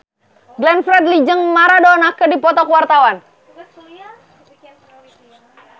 Glenn Fredly jeung Maradona keur dipoto ku wartawan